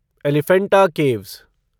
Elephanta caves